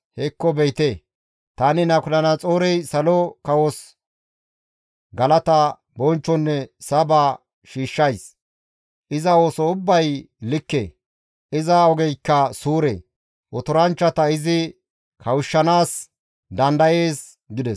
«Hekko be7ite! Tani Nabukadanaxoorey salo kawos galata, bonchchonne saba shiishshays; iza ooso ubbay likke; iza ogeykka suure; otoranchchata izi kawushshanaas dandayees» gides.